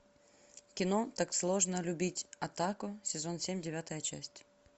кино так сложно любить отаку сезон семь девятая часть